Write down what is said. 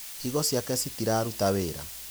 Higo ciake citiraruta wĩra.